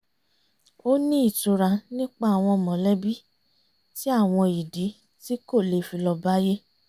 ó ní ìtura nípa àwọn mọ̀lẹ́bí tí àwọn ìdí tí kò le fi lọ bá yé